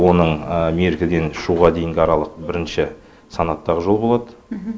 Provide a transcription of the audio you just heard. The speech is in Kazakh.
оның меркіден шуға дейінгі аралық бірінші санаттағы жол болады